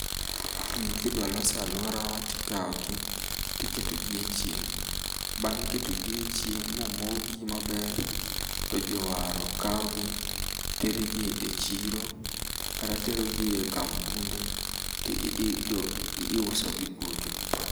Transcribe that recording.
Gigi kidwa los aluora tikawogi tiketo gi echieng'.Bang' ketogi echieng' mo mogi maber to jowaro kawogi terogie echiro kata terogie ekampunde ti ii jo i iusogi kucho.